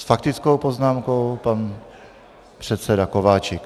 S faktickou poznámkou pan předseda Kováčik.